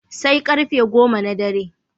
Sai ƙarfe go goma na dare.